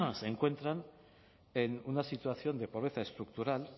se encuentra en una situación de pobreza estructural